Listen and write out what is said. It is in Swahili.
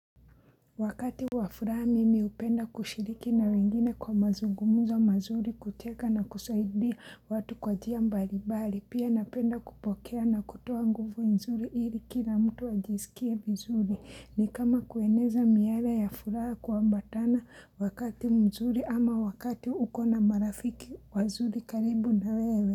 Wakati wa furaha mimi hupenda kushiriki na wengine kwa mazungumuzo mazuri kucheka na kusaidia watu kwa njia mbalimbali. Pia napenda kupokea na kutoa nguvu nzuri ili kila mtu ajisikie vizuri. Ni kama kueneza miale ya furaha kuambatana wakati mzuri ama wakati uko na marafiki wazuri karibu na wewe.